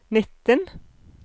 nitten